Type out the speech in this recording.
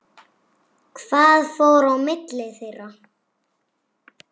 Hvað fór á milli þeirra?